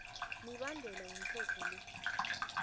mibandela yomthetho lo